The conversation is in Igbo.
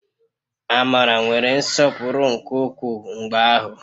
Amara nwere nsọpụrụ nke ukwuu mgbe ahụ